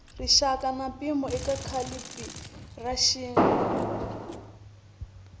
rixaka na mpimo eka calibiraxini